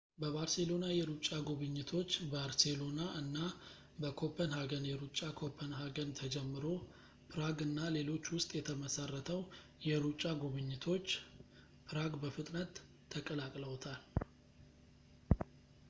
በባርሴሎና የሩጫ ጉብኝቶች ባርሴሎና እና በኮፐንሃገን የሩጫ ኮፐንሃገን ተጀምሮ ፕራግ እና ሌሎች ውስጥ የተመሰረተው የሩጫ ጉብኝቶች ፕራግ በፍጥነት ተቀላቅለውታል